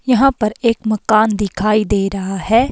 यहां पर एक मकान दिखाई दे रहा है।